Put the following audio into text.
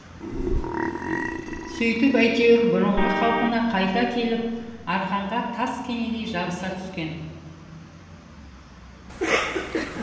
сөйтіп әйтеуір бұрынғы қалпына қайта келіп арқанға таскенедей жабыса түскен